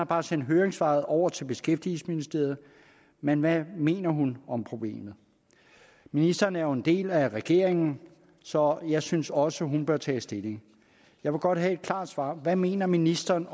bare sendt høringssvaret over til beskæftigelsesministeriet men hvad mener hun om problemet ministeren er jo en del af regeringen så jeg synes også at hun bør tage stilling jeg vil godt have et klart svar hvad mener ministeren